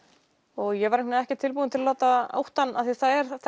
og ég var ekki tilbúin til að láta óttann því það er